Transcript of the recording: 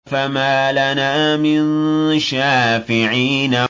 فَمَا لَنَا مِن شَافِعِينَ